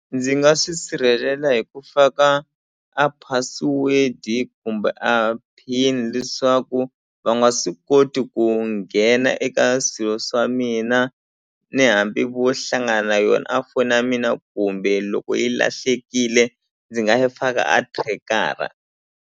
Ndzi nga swi sirhelela hi ku faka a password-i kumbe a pin leswaku va nga swi koti ku nghena eka swilo swa mina ni hambi vo hlangana na yona a foni ya mina kumbe loko yi lahlekile ndzi nga yi faka a track-ara.